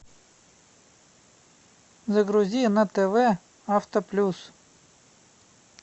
загрузи на тв авто плюс